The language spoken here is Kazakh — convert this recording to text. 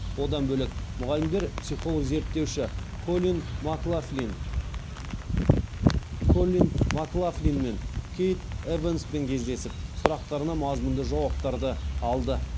одан бөлек мұғалімдер психолог зерттеуші коллин маклафлин мен кейт эванспен кездесіп сұрақтарына мазмұнды жауаптарды алды